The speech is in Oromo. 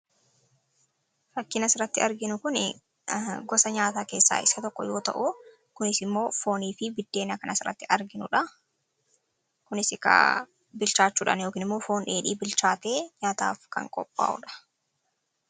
fakkin siratti arginu kun gosa nyaataa keessa iska tokko you ta'u kunis immoo foonii fi biddeena kana asiratti arginudha kunis bilchaachuudhan yookin immoo foon dheedhii bilchaate nyaataaf kan qophaa'udha